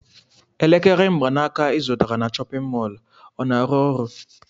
Elekere mgbanaka ị zụtara na chọpịn mọọlụ ọ na-arụ ọrụ?